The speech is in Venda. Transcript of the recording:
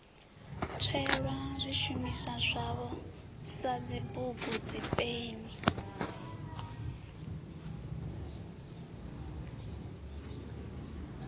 tswelwa zwishumiswa zwavho sadzibugu dzipeni